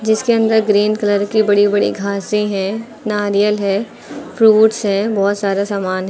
जीसके अंदर green colour की बड़ी बड़ी घासें हैं नारियल है फ्रूट्स है बहुत सारा सामान है।